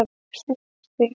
Smiðjustíg